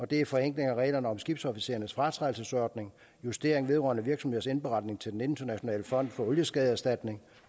det er en forenkling af reglerne om skibsofficerernes fratrædelsesordning justering vedrørende virksomheders indberetning til den internationale fond for olieskadeerstatning